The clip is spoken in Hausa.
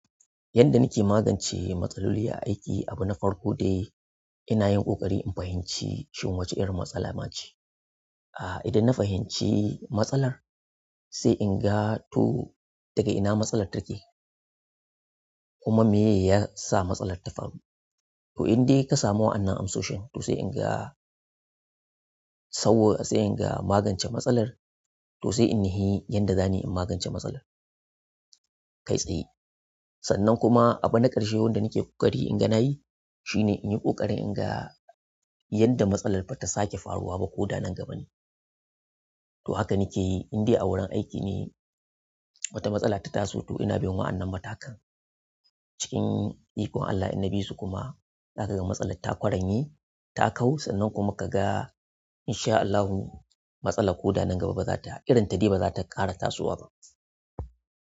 Yanda nake magance matsaloli a aiki, abu na farko dai ina yin ƙoƙari in fahimci shin wace irin matsala ma ce. Ah, idan na fahimci matsalar, sai in ga to daga ina matsalar take, kuma meye yasa matsalar ta faru. To in dai ka samu wa'annan amsoshin, to sai in ga sau, sai in ga magance matsalar, to sai in nuhi yanda zanai in magance matsalar. Kai tsaye. Sannan kuma abu na ƙarshe wanda nake ƙoƙari in ga na yi, shine in yi ƙoƙari in ga yanda matsalar ba ta sake faruwa ba koda nan gaba ne. To haka nake yi in dai a wurin aiki ne wata matsala ta taso, to ina bin wa'annan matakan. Cikin ikon Allah in na bisu kuma, zaka ga matsalar ta ƙwaranye, ta kau, sannan kuma kaga in sha Allahu matsala ko da nan gaba ba za ta, irin ta dai ba za ta ƙara tasowa ba.